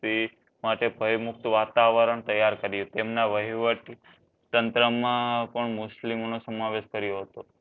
તે માટે ભય મુક્ત વાતાવરણ તૈયાર કર્યું તેમના વહીવટ તંત્ર માં પણ મુસ્લિમ માં સમાવેશ કર્યું હતું